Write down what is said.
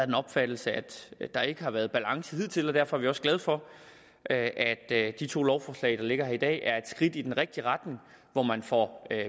den opfattelse at der ikke har været balance hidtil og derfor er vi også glade for at at de to lovforslag der ligger her i dag er et skridt i den rigtige retning hvor man får